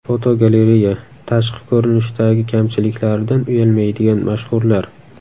Fotogalereya: Tashqi ko‘rinishdagi kamchiliklaridan uyalmaydigan mashhurlar.